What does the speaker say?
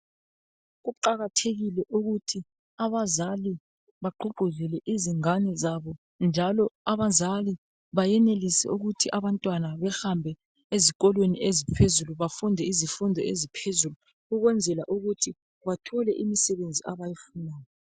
Kuqakathekile ukuthi abazali bagqugquzele izingane zabo njalo abazali bayenelise ukuthi abantwana behambe ezikolweni eziphezulu bafunde izifundo eziphezulu ukwenzela ukuthi bathole imisebenzi abayifunayo.